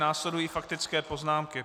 Následují faktické poznámky.